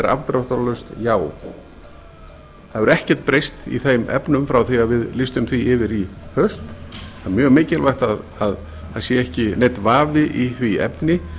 afdráttarlaust já það hefur ekkert breyst í þeim efnum frá því að við lýstum því yfir í haust það er mjög mikilvægt að það sé ekki neinn vafi í því efni